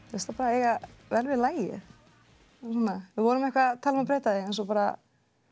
eiga vel við lagið við vorum eitthvað að tala um að breyta því en svo bara